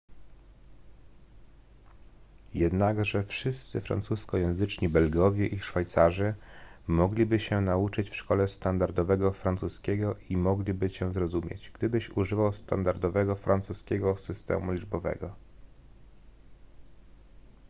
jednakże wszyscy francuskojęzyczni belgowie i szwajcarzy mogliby się nauczyć w szkole standardowego francuskiego i mogliby cię zrozumieć gdybyś używał standardowego francuskiego systemu liczbowego